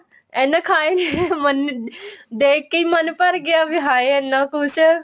ਐਨਾ ਖਾਇਆ ਹੀ ਨਹੀਂ ਗਿਆ ਦੇਖਕੇ ਹੀ ਮਨ ਭਰ ਗਿਆ ਵੀ ਹਾਏ ਇੰਨਾ ਕੁੱਛ